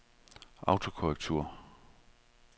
autokorrektur